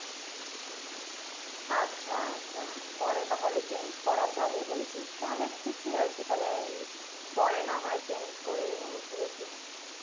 আচ্ছা আচ্ছা পরে তাহলে change করা যাবে বলছিস তাহলে ঠিকই আছে তাহলে আমি পরে না হয় change করেই নেবো বুঝেছিস